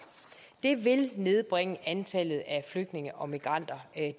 det vil nedbringe antallet af flygtninge og migranter